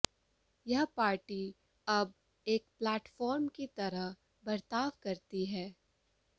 यह पार्टी अब एक प्लेटफार्म की तरह बर्ताव करती है